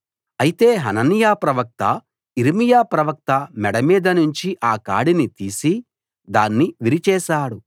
అయితే హనన్యా ప్రవక్త యిర్మీయా ప్రవక్త మెడ మీదనుంచి ఆ కాడిని తీసి దాన్ని విరిచేశాడు